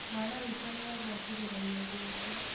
Mwana witũ nĩagua kĩgeranio gĩake